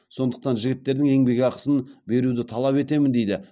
сондықтан жігіттердің еңбекақысын беруді талап етемін дейді